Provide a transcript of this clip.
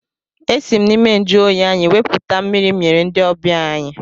Esi m n'ime njụoyi anyị wepụta mmiri m nyere ndị ọbịa anyị.